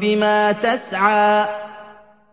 بِمَا تَسْعَىٰ